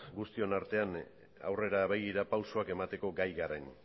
guztion artean aurrera begira pausoak emateko gai garen